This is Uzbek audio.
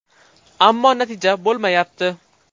Ammo natija bo‘lmayapti.